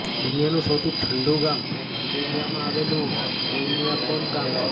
દુનિયાનું સૌથી ઠંડું ગામ સિબેરિયામાં આવેલું ઓયમ્યાકોન ગામ છે